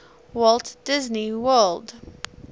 walt disney world